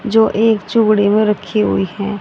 जो एक चूड़ी मे रखी हुई है।